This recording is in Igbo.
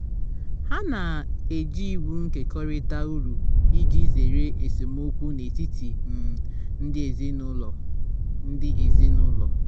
ha na-eji iwu nkekọrịta uru iji zere esemokwu n'etiti um ndi ezinụlọ um ndi ezinụlọ